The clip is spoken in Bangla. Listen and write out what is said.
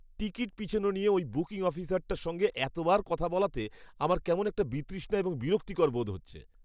টিকিট পিছনো নিয়ে ওই বুকিং অফিসারটার সঙ্গে এতবার কথা বলাতে আমার কেমন একটা বিতৃষ্ণা এবং বিরক্তিকর বোধ হচ্ছে।